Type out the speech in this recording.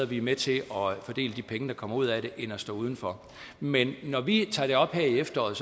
vi er med til at fordele de penge der kommer ud af det end at stå udenfor men når vi tager det op her i efteråret